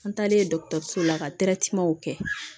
An taalen dɔgɔtɔrɔso la ka kɛ